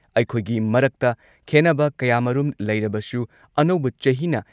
ꯑꯩꯈꯣꯏꯒꯤ ꯃꯔꯛꯇ ꯈꯦꯟꯅꯕ ꯀꯌꯥꯃꯔꯨꯝ ꯂꯩꯔꯕꯁꯨ ꯑꯅꯧꯕ ꯆꯍꯤꯅ